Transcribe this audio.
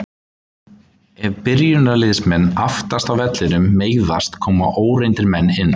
Ef byrjunarliðsmenn aftast á vellinum meiðast koma óreyndir menn inn.